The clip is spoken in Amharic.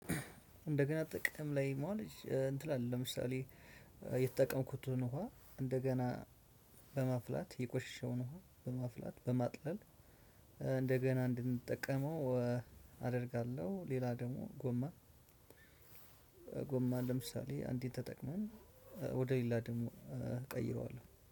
እንደገና ጥቅም ላይ መዋል እንትን አለ ለምሳሌ የተጠቀምኩትን ውሃ እንደገና በማፍላት የቆሸሸውን ውሃ በማፍላት በማጥለል እንደገና እንድንጠቀመው አደርጋለሁ ሌላ ደግሞ ጎማ፤ ጎማ ለምሳሌ አንዴ ተጠቅመን ወደ ሌላ ደግሞ ቀይረዋለሁ።